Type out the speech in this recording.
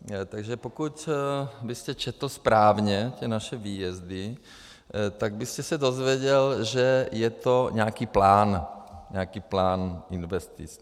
Takže pokud byste četl správně ty naše výjezdy, tak byste se dozvěděl, že je to nějaký plán, nějaký plán investic.